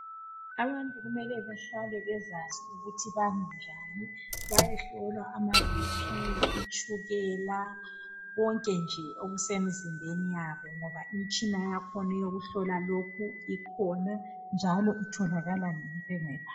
Abantu kumele behlale besazi ukuthi bami njani. Bayehlola ama BP itshukela komle nie okusemzimbeni yabo ngoba imitshina yakhona yokuhlola ikhona njalo itholakala ezibhedlela.